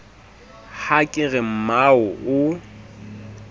ha ke re mmao o